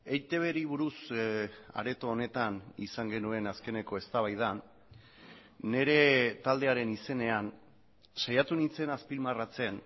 eitbri buruz areto honetan izan genuen azkeneko eztabaidan nire taldearen izenean saiatu nintzen azpimarratzen